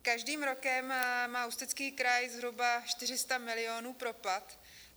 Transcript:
Každým rokem má Ústecký kraj zhruba 400 milionů propad.